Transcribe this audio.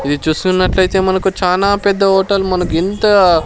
ఇది చూస్తున్నట్లయితే మనకు చానా పెద్ద హోటల్ మనకుఇంతా --